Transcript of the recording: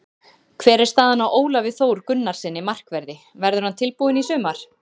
Hvernig er staðan á Ólafi Þór Gunnarssyni, markverði, verður hann tilbúinn í sumar?